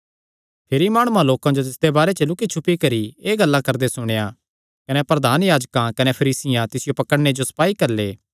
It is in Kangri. फरीसी माणुआं लोकां जो तिसदे बारे च लुक्की छुपी करी एह़ गल्लां करदे सुणेया कने प्रधान याजकां कने फरीसियां तिसियो पकड़णे जो सपाई घल्ले